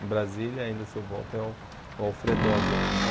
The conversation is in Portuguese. Em Brasília, ainda se eu volto, é o Alfredogue ainda.